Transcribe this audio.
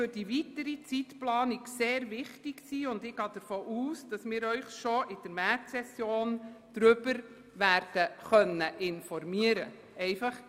Für die weitere Zeitplanung wird dies sehr wichtig sein, und ich gehe davon aus, dass wir Sie bereits während der Märzsession darüber werden informieren können.